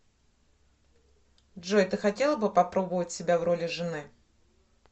джой ты хотела бы попробовать себя в роли жены